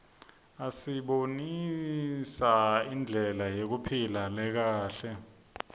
asibonisa indlela yekuphila lekahle